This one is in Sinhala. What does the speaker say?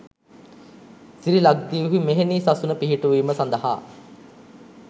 සිරි ලක්දිව්හි මෙහෙණි සසුන පිහිටුවීම සඳහා